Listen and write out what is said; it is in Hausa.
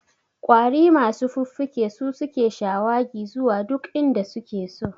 Ƙwari masu fuffuke su suke shawagi zuwa duk inda suke so